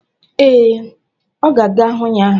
Ee, ọ ga-aga hụ ya.